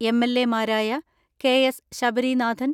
എം.എൽ.എമാരായ K S Sabarinathan,